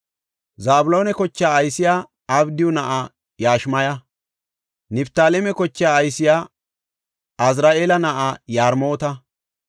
Zabloona kochaa aysey Abdiyu na7aa Yashimaya. Niftaaleme kochaa aysey Azri7eela na7aa Yarmoota.